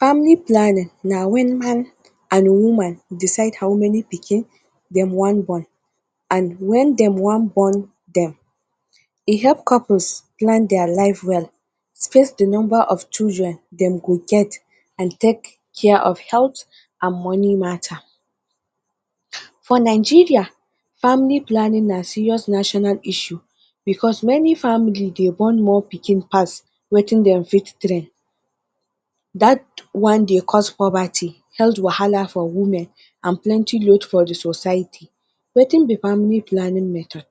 Family planning when man and woman decide how many pikin them want born and when them want born am. E help couples plan their life well, space the number of children them go get and take care of health and money matter. For Nigeria, family planning matter na serious national issue because many family they born more pikin pass wetin them fit train that one they cause poverty, health wahala for women and plenty load for the society. Wetin be family planning method?